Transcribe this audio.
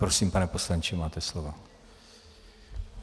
Prosím, pane poslanče, máte slovo.